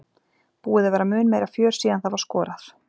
Búið að vera mun meira fjör síðan það var skorað.